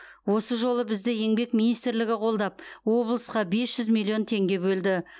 осы жолы бізді еңбек министрлігі қолдап облысқа бес жүз миллион теңге бөлді